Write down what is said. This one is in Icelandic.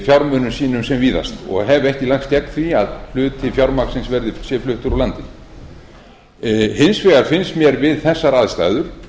fjármunum sínum sem víðast og hef ekki lagst gegn því að hluti fjármagnsins sé fluttur úr landi hins vegar finnst mér við þessar aðstæður